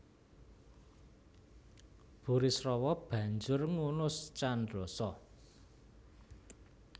Burisrawa banjur ngunus candrasa